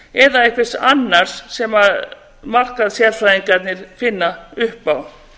kampavíns eða einhvers annars sem markaðssérfræðingarnir finna upp á